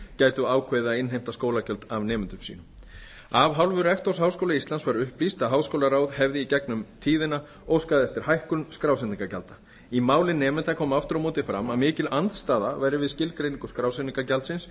gætu ákveðið að innheimta skólagjöld af nemendum sínum af hálfu rektors háskóla íslands var upplýst að háskólaráð hefði í gegnum tíðina óskað eftir hækkun skrásetningargjalda í máli nemenda kom aftur á móti fram að mikil andstaða væri við skilgreiningu skrásetningargjaldsins